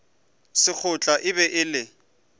sekgotla e be e le